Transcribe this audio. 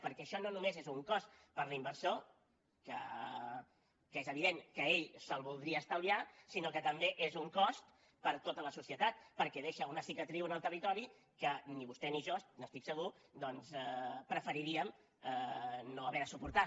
perquè això no només és un cost per a l’inversor que és evident que ell se’l voldria estalviar sinó que també és un cost per a tota la societat perquè deixa una cicatriu en el territori que ni vostè ni jo n’estic segur doncs preferiríem no haver de suportar